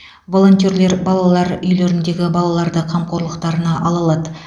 волонтерлер балалар үйлеріндегі балаларды қамқорлықтарына ала алады